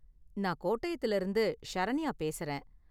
நான் கோட்டயத்துல இருந்து ஷரண்யா பேசுறேன்.